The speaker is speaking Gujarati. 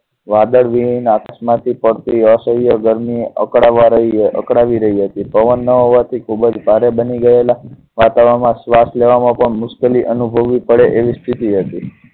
વાદળ માંથી પડતી અસહ્ય ગરમી અકડાવવા રહી રહી હતી. પવન ન હોવા થી ખુબજ ભારે બની ગયેલા વાતાવરણ માં શ્વાસ લેવા માં મુશ્કેલી અનુભવવી પડે એવી સ્થિતિ હતી.